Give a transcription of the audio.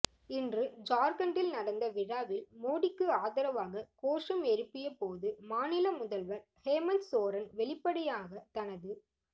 இன்று ஜார்கண்டில் நடந்த விழாவில் மோடிக்கு ஆதரவாக கோஷம் எழுப்பிய போது மாநில முதல்வர் ஹெமந்த் சோரன் வெளிப்படையாக தனது